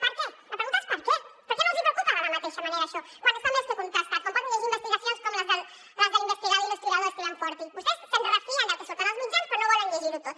per què la pregunta és per què per què no els hi preocupa de la mateixa manera això quan està més que contrastat com poden llegir investigacions com les de l’investigador i historiador steven forti vostès se’n refien del que surt en els mitjans però no volen llegir ho tot